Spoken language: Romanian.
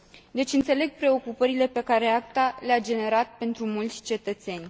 Deci înțeleg preocupările pe care ACTA le a generat pentru mulți cetățeni.